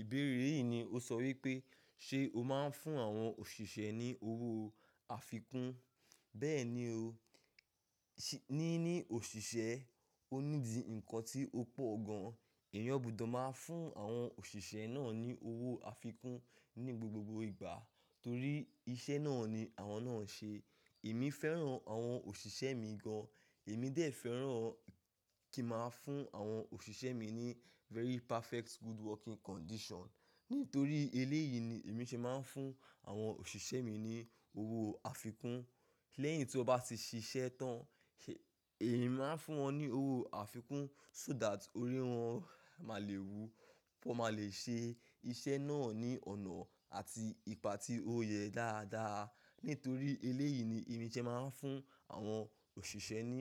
Ìbéèrè yìí ni ó sọ wípé ṣe o máa ń fún àwọn òṣìṣẹ́ ní owó afikún? Bẹ́ẹ̀ni o, ṣíì ní ní òṣìṣẹ́, ó nídi ǹkan tí ó pọ̀ gan. Èèyàn gbudó máa ń fún àwọn òṣìṣẹ́ náà ní owó afikún ní gbogbo ìgbà torí iṣẹ́ náà ni àwọn náà ń ṣe. Èmi fẹ́ràn àwọn òṣìṣẹ́ mi gan. Èmi dé fẹ́ràn kí màá fún àwọn òṣìṣẹ́ mi ní very perfect good working condition. Nítorí eléyìí ni èmi ṣe máa ń fún àwọn òṣìṣẹ́ mi ní owó afikún. Lẹ́yìn tí wọ́n bá ti ṣiṣẹ́ tán, èmi máa ń fún wọn ní owó afikún so that orí wọn má lè wú, pé wọ́n máa lè ṣe iṣẹ́ náà ní ọ̀nà àti ìpà tí ó yẹ dáadáa. Nítorí eléyìí ni èmi ṣe máa ń fún àwọn òṣìṣẹ́ ní,